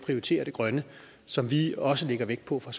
prioritere det grønne som vi også lægger vægt på fra